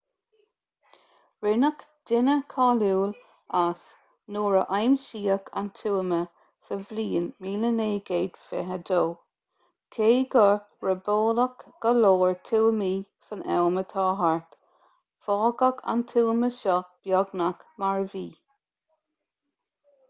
rinneadh duine cáiliúil as nuair a aimsíodh an tuama sa bhliain 1922 cé gur robáladh go leor tuamaí san am atá thart fágadh an tuama seo beagnach mar a bhí